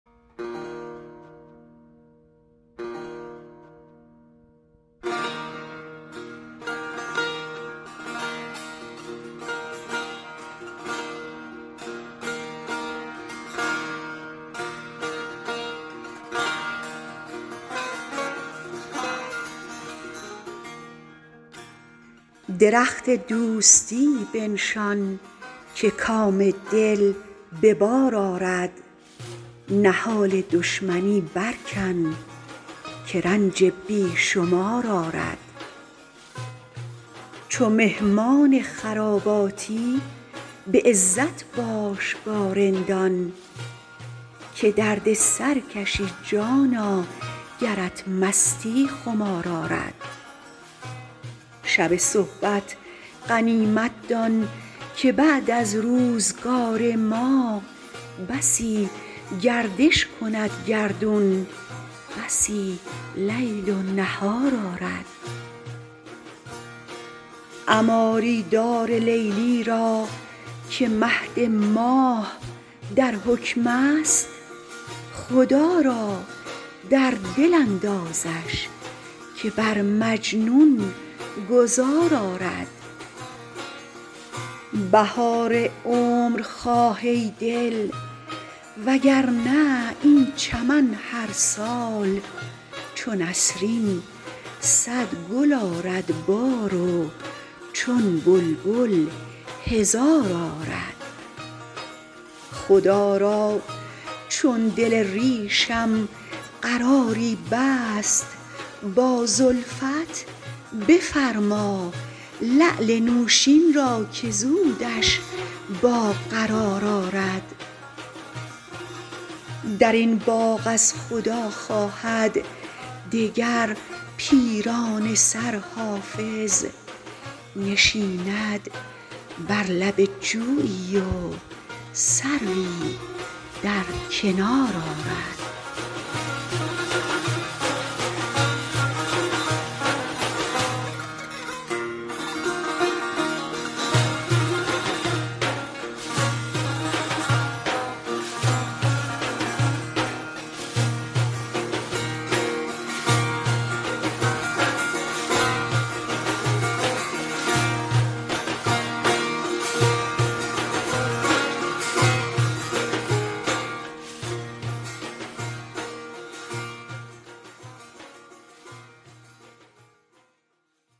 درخت دوستی بنشان که کام دل به بار آرد نهال دشمنی برکن که رنج بی شمار آرد چو مهمان خراباتی به عزت باش با رندان که درد سر کشی جانا گرت مستی خمار آرد شب صحبت غنیمت دان که بعد از روزگار ما بسی گردش کند گردون بسی لیل و نهار آرد عماری دار لیلی را که مهد ماه در حکم است خدا را در دل اندازش که بر مجنون گذار آرد بهار عمر خواه ای دل وگرنه این چمن هر سال چو نسرین صد گل آرد بار و چون بلبل هزار آرد خدا را چون دل ریشم قراری بست با زلفت بفرما لعل نوشین را که زودش با قرار آرد در این باغ از خدا خواهد دگر پیرانه سر حافظ نشیند بر لب جویی و سروی در کنار آرد